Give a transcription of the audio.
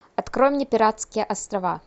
открой мне пиратские острова